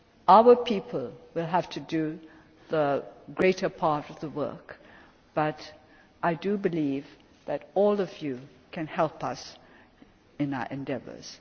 harder. Our people will have to do the greater part of the work, but I believe that all of you can help us in our endeavours.